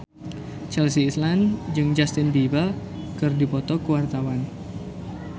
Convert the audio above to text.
Chelsea Islan jeung Justin Beiber keur dipoto ku wartawan